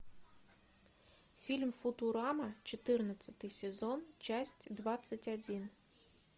фильм футурама четырнадцатый сезон часть двадцать один